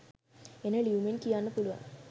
එන ලියුමෙන් කියන්න පුළුවන්